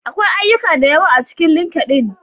Akwai ayyuka da yawa a cikin LinkedIn.